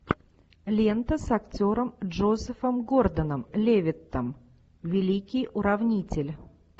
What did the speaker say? лента с актером джозефом гордоном левиттом великий уравнитель